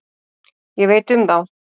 Ég veit um þá.